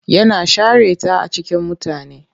Yana share ta a cikin mutane.